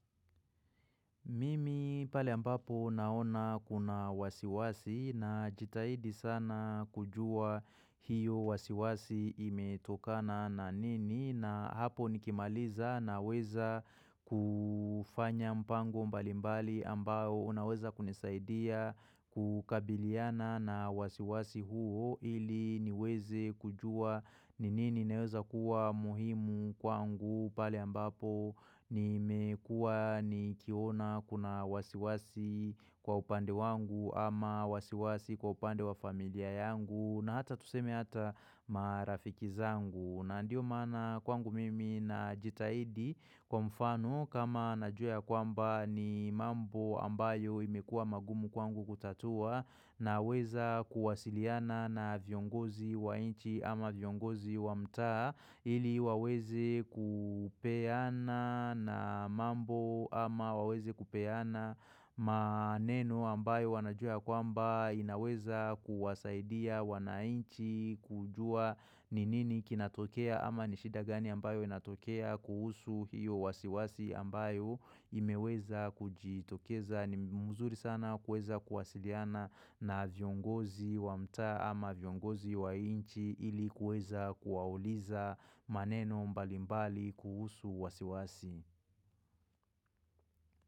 Mimi pale ambapo naona kuna wasiwasi najitahidi sana kujua hiyo wasiwasi imetokana na nini na hapo nikimaliza naweza kufanya mpango mbalimbali ambayo unaweza kunisaidia kukabiliana na wasiwasi huo ili niweze kujua ni nini naweza kuwa muhimu kwangu pale ambapo Nimekua nikiona kuna wasiwasi kwa upande wangu ama wasiwasi kwa upande wa familia yangu na hata tuseme hata marafiki zangu na ndio mana kwangu mimi najitaidi kwa mfano kama najua ya kwamba ni mambo ambayo imekuwa magumu kwangu kutatua na weza kuwasiliana na viongozi wa nchi ama viongozi wa mtaa ili waweze kupeana na mambo ama waweze kupeana maneno ambayo wanajua ya kwamba inaweza kuwasaidia wanainchi kujua ni nini kinatokea ama ni shida gani ambayo inatokea kuhusu hiyo wasiwasi ambayo imeweza kujiitokeza ni mzuri sana kuweza kuwasiliana na viongozi wa mtaa ama viongozi wa inchi ilikuweza kuwauliza maneno mbalimbali kuhusu wasiwasi.